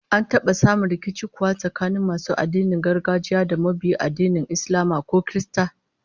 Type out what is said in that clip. An taba samun rikici kuwa tsakanin masu addinin gargajiya da mabiya addinan Islama ko Kirista?